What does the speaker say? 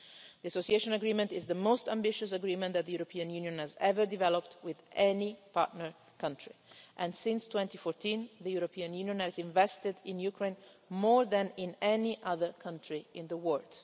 The Association Agreement is the most ambitious agreement that the European Union has ever developed with any partner country, and since 2014 the European Union has invested in Ukraine more than in any other country in the world.